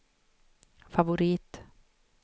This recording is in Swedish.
favorit